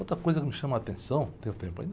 Outra coisa que me chama a atenção, tenho tempo ainda?